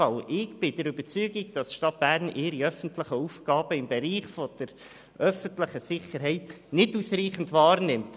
Ich bin der Überzeugung, dass die Stadt Bern ihre öffentlichen Aufgaben im Bereich der öffentlichen Sicherheit nicht ausreichend wahrnimmt.